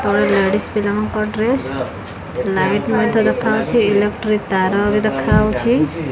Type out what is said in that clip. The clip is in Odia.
ତଳେ ଲେଡିସ ପିଲା ମାନଙ୍କର ଡ୍ରେସ୍ ଲାଇଟ୍ ମଧ୍ୟ ଦେଖାଯାଉଛି ଇଲେକ୍ଟ୍ରିାକ୍ ତାର ଭି ଦେଖାଯାଉଛି।